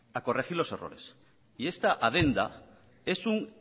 a corregir los errores y esta adenda es un